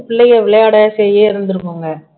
பிள்ளைங்க விளையாட செய்ய இருந்திருக்கும்ங்க